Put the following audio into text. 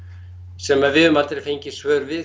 sem við höfum aldrei fengið svör við